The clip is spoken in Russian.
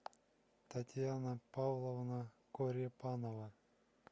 татьяна павловна корепанова